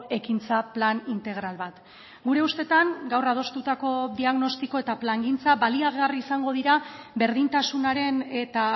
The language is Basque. ekintza plan integral bat gure ustetan gaur adostutako diagnostiko eta plangintza baliagarri izango dira berdintasunaren eta